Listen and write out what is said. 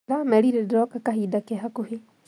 Ndĩramerire ndĩroka kahinda ke hakũhĩ